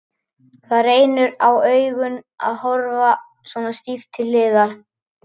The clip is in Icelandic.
Það reynir á augun að horfa svona stíft til hliðar.